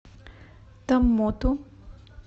томмоту